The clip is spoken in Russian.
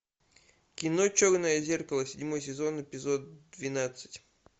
кино черное зеркало седьмой сезон эпизод двенадцать